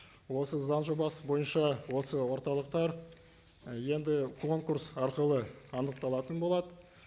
осы заң жобасы бойынша осы орталықтар і енді конкурс арқылы анықталатын болады